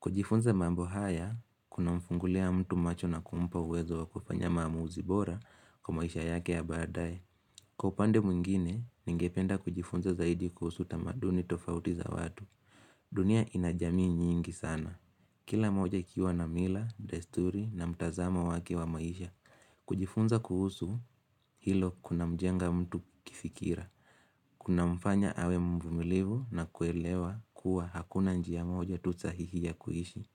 Kujifunza mambo haya, kuna mfungulia mtu macho na kumpa uwezo wa kufanya mamuuzi bora kwa maisha yake ya baadaye. Kwa upande mwingine, ningependa kujifunza zaidi kusuhu tamaduni tofauti za watu. Dunia ina jamii nyingi sana. Kila moja ikiwa na mila, desturi na mtazamo wake wa maisha. Kujifunza kuhusu hilo kuna mjenga mtu kifikira. Kuna mfanya awe mvumilivu na kuelewa kuwa hakuna njia moja tu sahihi ya kuishi.